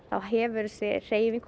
þá hefur þessi hreyfing